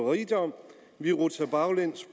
rigdom vi rutsjer baglæns